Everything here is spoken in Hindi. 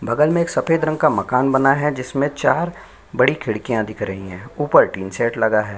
बगल में सफ़ेद रंग का मकान बना है जिसमे चार बड़ी खिड़कियां दिख रही है ऊपर टिन शेड लगा है।